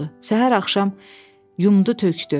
Səhər-axşam yumdu tökdü.